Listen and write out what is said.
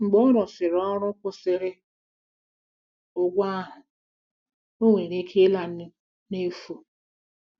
Mgbe ọ rụsịrị ọrụ kwụsịrị ụgwọ ahụ, ọ nwere ike ịla n'efu.